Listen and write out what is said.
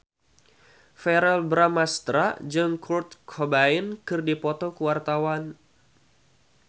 Verrell Bramastra jeung Kurt Cobain keur dipoto ku wartawan